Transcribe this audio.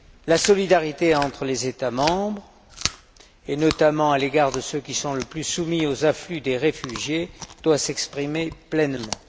La solidarité entre les États membres, et notamment à l'égard de ceux qui sont le plus soumis aux afflux des réfugiés, doit s'exprimer pleinement.